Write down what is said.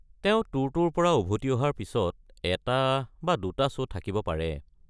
তেওঁ ট্যুৰটোৰ পৰা উভতি অহাৰ পিছত এটা বা দুটা শ্ব' থাকিব পাৰে।